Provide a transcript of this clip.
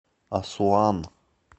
асуан